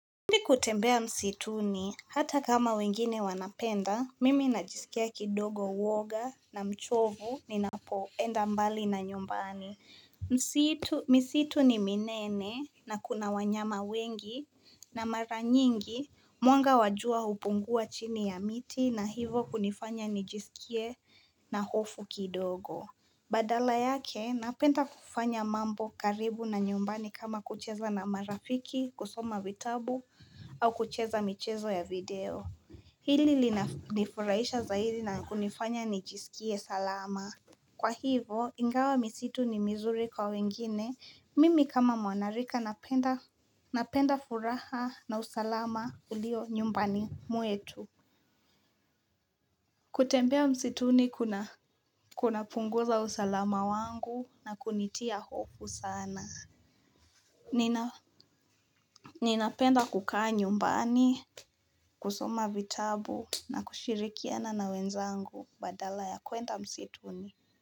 Kutembea msituni hata kama wengine wanapenda, mimi najisikia kidogo uwoga na mchovu ninapoenda mbali na nyumbani. Misitu ni minene na kuna wanyama wengi na mara nyingi mwanga wa jua hupungua chini ya miti na hivyo kunifanya nijisikie na hofu kidogo. Badala yake, napenda kufanya mambo karibu na nyumbani kama kucheza na marafiki, kusoma vitabu, au kucheza michezo ya video. Hili linanifurahisha zaidi na kunifanya nijisikie salama. Kwa hivyo, ingawa misitu ni mizuri kwa wengine, mimi kama mwanarika napenda furaha na usalama ulio nyumbani mwetu. Kutembea msituni kuna kuna punguza usalama wangu na kunitia hofu sana. Nina penda kukaa nyumbani, kusoma vitabu na kushirikiana na wenzangu badala ya kwenda msituni.